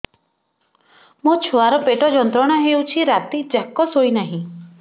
ମୋ ଛୁଆର ପେଟ ଯନ୍ତ୍ରଣା ହେଉଛି ରାତି ଯାକ ଶୋଇନାହିଁ